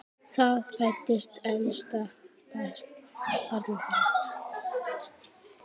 Þar fæddist elsta barn þeirra.